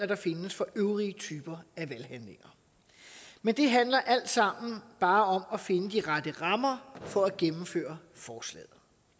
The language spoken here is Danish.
der findes for øvrige typer af valghandlinger men det handler alt sammen bare om at finde de rette rammer for at gennemføre forslaget